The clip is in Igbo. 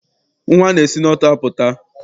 Nnwa si n'ọtụ apụta.